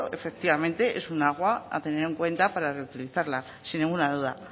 efectivamente es un agua a tener en cuenta para reutilizarla sin ninguna duda